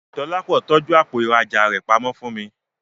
Dọlápọ̀ tọ́jú àpò ìrajà rẹ pamọ́ fún mi